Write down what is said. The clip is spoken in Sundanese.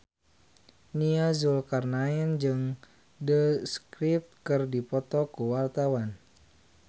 Nia Zulkarnaen jeung The Script keur dipoto ku wartawan